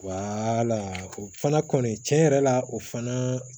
o fana kɔni cɛn yɛrɛ la o fana